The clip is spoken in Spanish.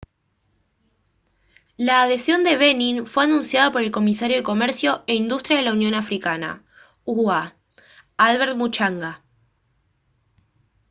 la adhesión de benin fue anunciada por el comisario de comercio e industria de la unión africana ua albert muchanga